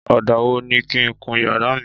Ọ̀dà wo ni kí n kun yàrá mi?